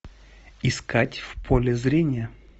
искать в поле зрения